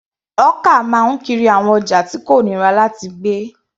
Hawker máa ń kiri àwọn ọjà tí kò nira láti gbé.